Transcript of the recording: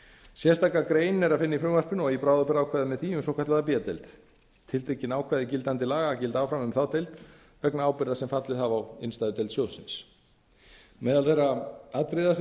sérstaka grein er að finna í frumvarpinu og bráðabirgðaákvæði með því um svokallaða b deild tiltekin ákvæði gildandi laga gilda áfram um a deild vegna ábyrgða sem fallið hafa á innstæðudeild sjóðsins meðal þeirra atriða sem